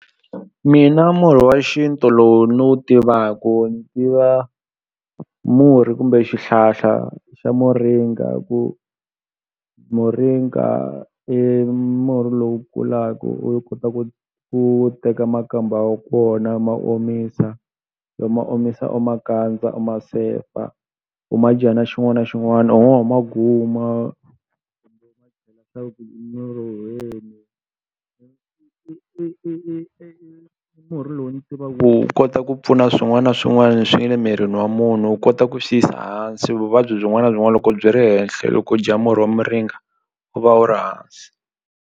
Mina murhi wa xintu lowu ni wu tivaku ni tiva murhi kumbe xihlahla xa muringa ku muringa i murhi lowu kulaku u kota ku u teka makamba wa kona ma omisa ma omisa u ma kandza u ma sefa u ma dya na xin'wani na xin'wani u ngo ho ma guma i i i i murhi lowu ni tiva ku wu kota ku pfuna swin'wana na swin'wana leswi nge le mirini wa munhu wu kota ku swi yisa hansi vuvabyi byin'wani na byin'wani loko byi ri henhle loko u dya murhi wa muringa u va u ri hansi.